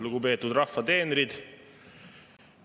Lugupeetud rahva teenrid!